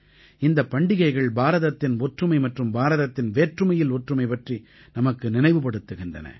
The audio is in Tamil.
இந்தப் பண்டிகைகள் பாரதத்தின் ஒற்றுமை மற்றும் பாரதத்தின் வேற்றுமையில் ஒற்றுமை பற்றி நமக்கு நினைவுபடுத்துகின்றன